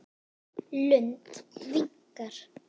Lund viknar.